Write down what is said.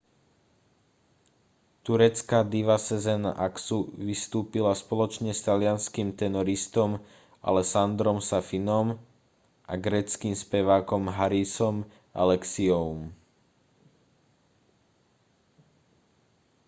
turecká diva sezen aksu vystúpila spoločne s talianskym tenoristom alessandrom safinom a gréckym spevákom harisom alexiouom